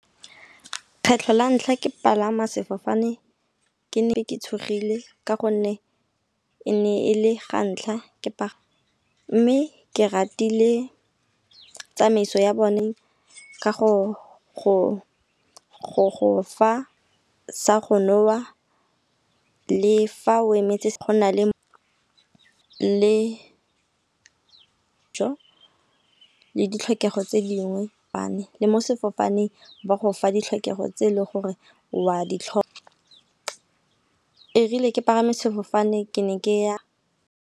Kgetlho la ntlha ke palama sefofane ke ne ke tshogile, ka gonne e ne e le ga ntlha ke pagama. Mme ke ratile tsamaiso ya bone ka go fa sa go nwewa le fa o emetse le ditlhokego tse dingwe . Le mo sefofaneng ba go fa ditlhokego tse e leng gore wa ditlho , ebile ke palame sefofane ke ne ke ya.